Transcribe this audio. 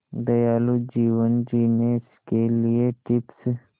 दयालु जीवन जीने के लिए टिप्स